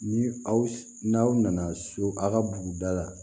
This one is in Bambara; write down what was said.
Ni aw n'aw nana so aw ka buguda la